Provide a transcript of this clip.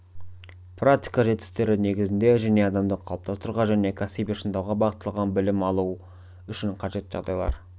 практика жетістіктері негізінде және адамды қалыптастыруға және кәсіби шыңдауға бағытталған білім алу үшін қажетті жағдайлар